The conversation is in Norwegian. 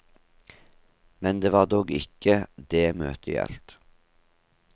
Men det var dog ikke det møtet gjaldt.